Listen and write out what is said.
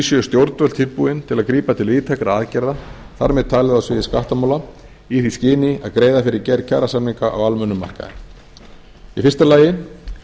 séu stjórnvöld tilbúin til að grípa til víðtækra aðgerða þar með talin á sviði skattamála í því skyni að greiða fyrir gerð kjarasamninga á almennum markaði í fyrsta lagi